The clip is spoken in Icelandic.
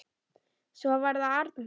Svo var það Arnþór.